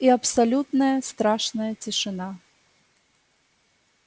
и абсолютная страшная тишина